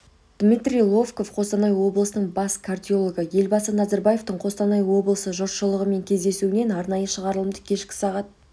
дмитрий лобков қостанай облысының бас кардиологы елбасы назарбаевтың қостанай облысы жұртшылығымен кездесуінен арнайы шығарылымды кешкі сағат